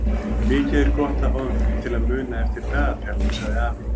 Mikið er gott að fá einhvern til að muna eftir dagatalinu sagði afi.